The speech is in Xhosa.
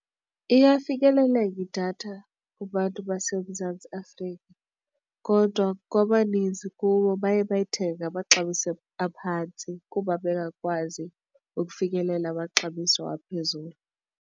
Iyafikeleleka idatha kubantu baseMzantsi Afrika kodwa kwabaninzi kubo baye bayithenge ngamaxabiso aphantsi kuba bengakwazi ukufikelela amaxabiso aphezulu.